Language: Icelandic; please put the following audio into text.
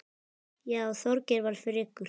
Já, Þorgeir var frekur.